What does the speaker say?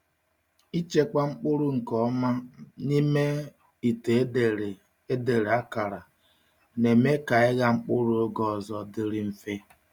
Ịchekwa mkpụrụ nke ọma um n’ime ite e dere e dere akara na-eme ka ịgha mkpụrụ oge ọzọ dịrị mfe.